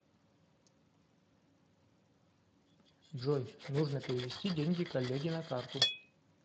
джой нужно перевести деньги коллеге на карту